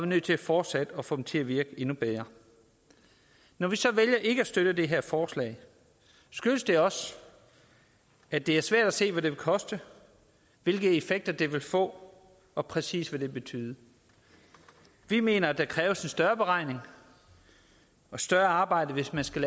nødt til fortsat at få dem til at virke endnu bedre når vi så vælger ikke at støtte det her forslag skyldes det også at det er svært at se hvad det vil koste hvilke effekter det vil få og præcis hvad det vil betyde vi mener at der kræves en større beregning og større arbejde hvis man skal